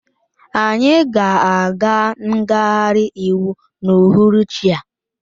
Anyị ga-aga ngagharị iwu n'uhuruchi a